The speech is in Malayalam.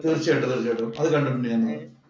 തീര്‍ച്ചയായിട്ടും, തീര്‍ച്ചയായിട്ടും. അത് കണ്ടിട്ടുണ്ട് ഞാന്.